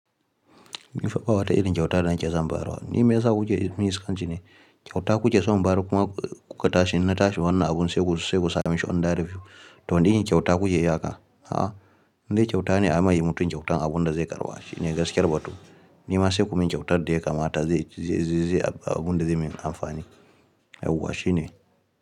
Ni fa ɓa wa ta irin kyauta da na ke son barawa. Ni me ya sa kuce ir min iskanci ne? Kyauta kuce so in bayar kuma ku ka tashi in na tashi wannan abun sai ku sai ku sa mishi under review. To wane irin kyauta kuke yi haka. A'a, in dai kyauta ne a mai mutum kyautan abunda zai karɓa shi ne gaskiyar batu. Ni ma sai ku min kyautar da ya kamata zai-zai-zaizaya ba abunda zai min amfani. Yauwa shi ne.